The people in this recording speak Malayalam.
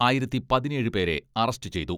ആയിരത്തി പതിനേഴ് പേരെ അറസ്റ്റ് ചെയ്തു.